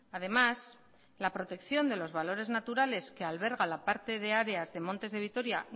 además la protección de los valores naturales que alberga la parte de áreas de montes de vitoria